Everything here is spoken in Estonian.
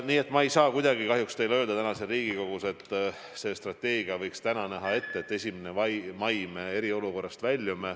Nii et ma ei saa kahjuks teile täna siin Riigikogus kuidagi öelda, et see strateegia võiks täna ette näha, et 1. mail me väljume eriolukorrast.